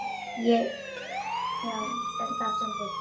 Já, það stendur hér.